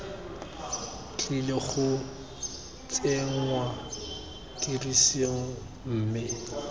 tlile go tsenngwa tirisong mme